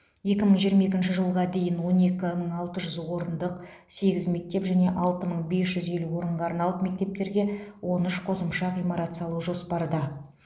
екі мың жиырма екінші жылға дейін он екі мың алты жүз орындық сегіз мектеп және алты мың бес жүз елу орынға арналып мектептерге он үш қосымша ғимарат салу жоспарда